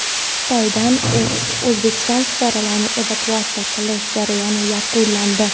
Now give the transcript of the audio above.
Xitoydan O‘zbekiston fuqarolarini evakuatsiya qilish jarayoni yakunlandi.